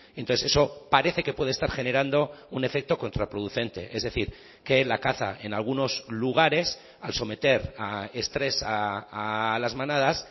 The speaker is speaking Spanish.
entonces eso parece que puede estar generando un efecto contraproducente es decir que la caza en algunos lugares al someter a estrés a las manadas